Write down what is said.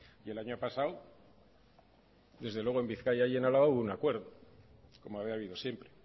y el año pasado desde luego en bizkaia y en álava hubo un acuerdo como había habido siempre